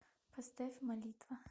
поставь молитва